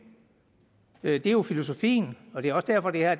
det er jo filosofien og det er også derfor det er